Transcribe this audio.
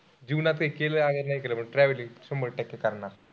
जीवनात कांही केलं अगर नाही केलं पण travelling शंभर टक्के करणार.